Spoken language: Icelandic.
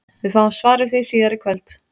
Við fáum svar við því síðar í kvöld!